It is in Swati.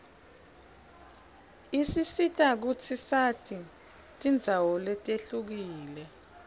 isisita kutsi sati tindzawo letihlukile